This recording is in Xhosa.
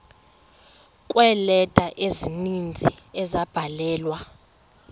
kweeleta ezininzi ezabhalelwa